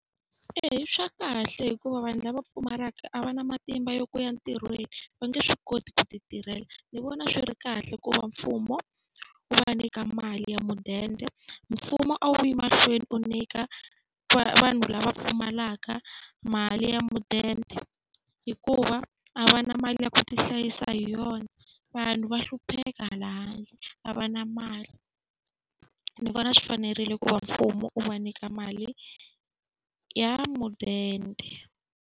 Eya i swa kahle hikuva vanhu lava pfumalaka a va na matimba ya ku ya ntirhweni, va nge swi koti ku ti tirhela. Ndzi vona swi ri kahle ku va mfumo wu va nyika mali ya mudende. Mfumo a wu yi mahlweni wu nyika vanhu lava pfumalaka mali ya mudende hikuva a va na mali ya ku ti hlayisa hi yona. Vanhu va hlupheka hala handle, a va na mali. Ni vona swi fanerile ku va mfumo wu va nyika mali ya mudende.